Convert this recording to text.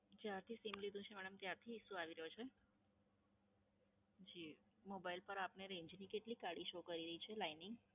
જ્યારથી સીમ લીધું છે મેડમ ત્યારથી Issue આવો રહ્યો છે? જી, Mobile પર આપને Range ની કેટલી કાળી શો કરે છે? Lining